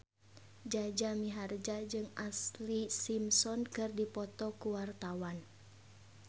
Jaja Mihardja jeung Ashlee Simpson keur dipoto ku wartawan